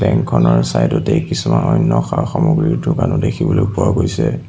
বেংকখনৰ চাইডতে কিছুমান অন্য সা-সামগ্ৰীৰ দোকানো দেখিবলৈ পোৱা গৈছে।